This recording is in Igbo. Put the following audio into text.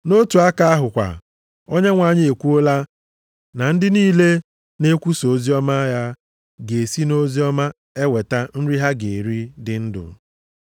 Nʼotu aka ahụ kwa, Onyenwe anyị ekwuola na ndị niile na-ekwusa oziọma ya ga-esi nʼoziọma eweta nri ha ga-eri dị ndụ.